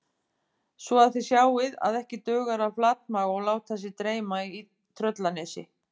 Svo að þið sjáið að ekki dugar að flatmaga og láta sig dreyma í Tröllanesi